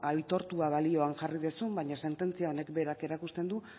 aitortua balioan jarri duzu baina sententzia honek berak erakusten du